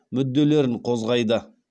мүделлерін қозғайды